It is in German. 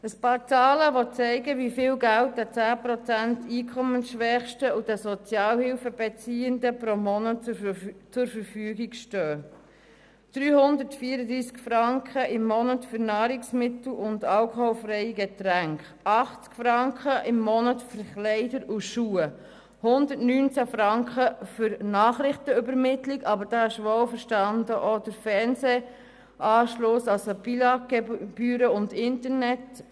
Einige Zahlen, die zeigen, wie viel Geld den 10 Prozent Einkommensschwächsten und den Sozialhilfebeziehenden pro Monat zur Verfügung stehen: 334 Franken im Monat für Nahrungsmittel und alkoholfreie Getränke, 80 Franken im Monat für Kleider und Schuhe, 119 Franken für Nachrichtenübermittlung inklusive Fernsehanschluss, Billag-Gebühren und Internet.